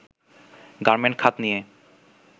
garment খাত নিয়ে